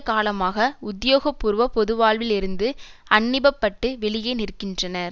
காலமாக உத்தியோகபூர்வ பொதுவாழ்வில் இருந்து அன்னிய பட்டு வெளியே நிற்கின்றனர்